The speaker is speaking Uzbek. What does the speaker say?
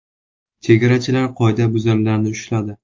Chegarachilar qoidabuzarlarni ushladi.